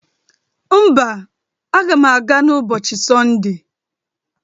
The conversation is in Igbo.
Mba, aga m aga n'ụbọcịi Sọnde.